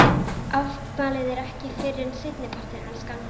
Afmælið er ekki fyrr en seinni partinn, elskan.